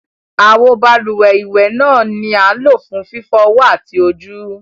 Awo bálúwẹ̀ iwẹ ni a ń lo fun fifọ ọwọ ati ojú.